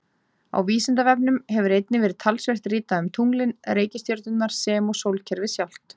Á Vísindavefnum hefur einnig verið talsvert ritað um tunglin, reikistjörnurnar sem og sólkerfið sjálft.